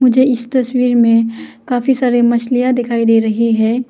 मुझे इस तस्वीर में काफी सारे मछलियां दिखाई दे रही हैं।